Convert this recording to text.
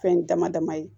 Fɛn dama dama ye